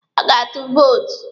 Ị ga-atụ vootu?